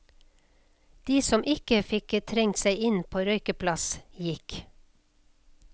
De som ikke fikk trengt seg inn på røykeplass, gikk.